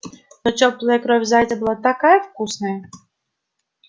но тёплая кровь зайца была такая вкусная